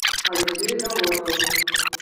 алексею головину